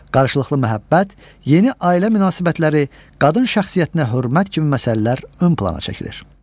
Qarşılıqlı məhəbbət, yeni ailə münasibətləri, qadın şəxsiyyətinə hörmət kimi məsələlər ön plana çəkilir.